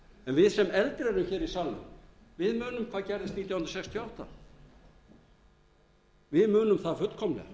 en við sem eldri erum hér í salnum munum hvað gerðist nítján hundruð sextíu og átta við munum það